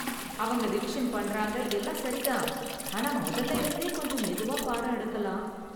அவங்க ரிவிஷன் பண்றாங்க எல்லாம் சரி தான், ஆனால் முதல்ல இருந்தே கொஞ்சம் மெதுவா பாடம் எடுக்கலாம்.